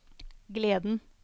gleden